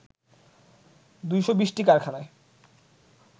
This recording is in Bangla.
২২০টি কারাখানায়